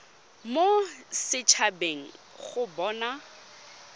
mo set habeng go bona